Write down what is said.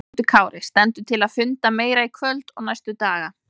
Höskuldur Kári: Stendur til að funda meira í kvöld og næstu daga?